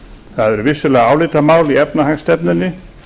það er vissulega álitamál í efnahagsstefnunni